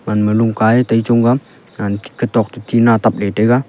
lungka ee tai chong tega katok te tina tap le tega.